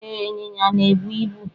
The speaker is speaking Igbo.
E, ịnyịnya na-ebu ibu.